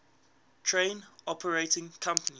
train operating companies